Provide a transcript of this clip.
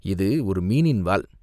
"இது ஒரு மீனின் வால்!